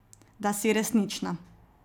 Da si resnična.